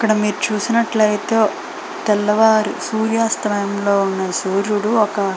ఇక్కడ మీరు చూసినట్లయితే తెల్లవారు సూర్యాస్తయములో ఉన్న సూర్యుడు ఒక్కా --